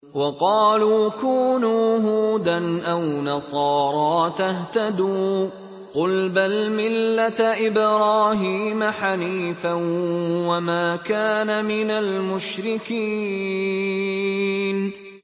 وَقَالُوا كُونُوا هُودًا أَوْ نَصَارَىٰ تَهْتَدُوا ۗ قُلْ بَلْ مِلَّةَ إِبْرَاهِيمَ حَنِيفًا ۖ وَمَا كَانَ مِنَ الْمُشْرِكِينَ